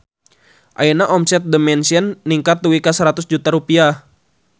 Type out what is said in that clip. Ayeuna omset The Mansion ningkat dugi ka 100 juta rupiah